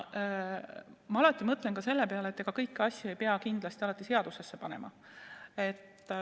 Ma alati mõtlen ka selle peale, et ega kõiki asju ei peagi tingimata seadusesse panema.